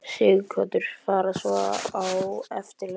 Sighvatur: Fara svo á eftirlaun?